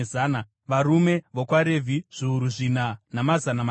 varume vokwaRevhi zviuru zvina namazana matanhatu,